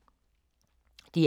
DR K